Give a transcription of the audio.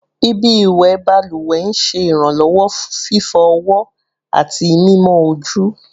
Ibi iwẹ baluwe n ṣe iranlọwọ fifọ ọwọ ati mimọ oju